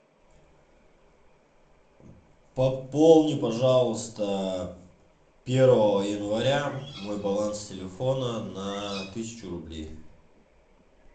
пополни пожалуйста первого января мой баланс телефона на тысячу рублей